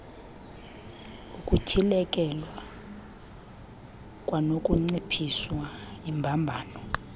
ukutyhilekelwa kwanokunciphisa iimbambano